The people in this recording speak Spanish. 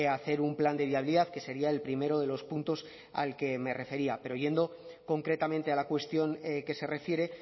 hacer un plan de viabilidad que sería el primero de los puntos al que me refería pero yendo concretamente a la cuestión que se refiere